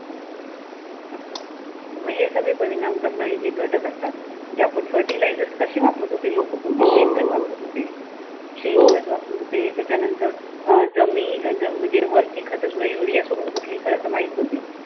मग हे सगळे परिणाम करणारे जे घटक असतात. जे आपण फर्टिलाइजर्स कशी वापरतो ते लोक पोळपूर्वी शेणखत वापरत होते शेणखत वापरत होते. त्यानंतर अह जमीन अं म्हणजे वरची खत सोडून युरिया सोडून कुठली खत माहित न्हवती.